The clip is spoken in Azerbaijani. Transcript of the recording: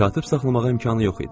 Katib saxlamağa imkanı yox idi.